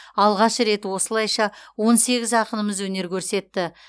алғаш рет осылайша он сегіз ақынымыз өнер көрсетті